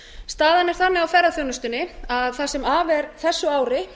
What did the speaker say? staðan er þannig á ferðaþjónustunni að það sem af er þessu ári